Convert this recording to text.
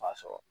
B'a sɔrɔ